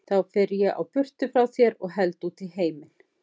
Þá fer ég á burtu frá þér og held út í heiminn.